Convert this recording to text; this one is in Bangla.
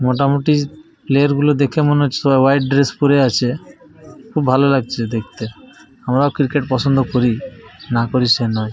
মোটামুটি প্লেয়ার -গুলো দেখে মনে হচ্ছে ওরা হোয়াইট ড্রেস পরে আছে। খুবই ভালো লাগছে দেখতে। আমরাও ক্রিকেট পছন্দ করি না করি সে নয়।